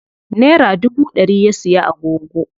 Nera dubu ɗari ya siya agogo.